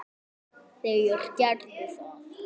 Þeir gerðu það.